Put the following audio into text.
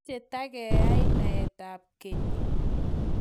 mache tageii naet ap keny